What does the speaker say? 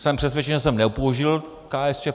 Jsem přesvědčen, že jsem nepoužil KSČ.